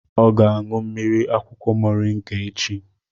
Ọ ga-aṅụ mmiri akwụkwọ Mọrịnga echi